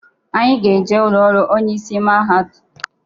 Anyị ga-eje ụlọrụ onye isi ụlọakwụkwọ mahadum ahụ.